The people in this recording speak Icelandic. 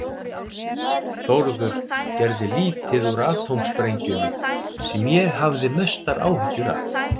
Þórður gerði lítið úr atómsprengjunni, sem ég hafði mestu áhyggjur af.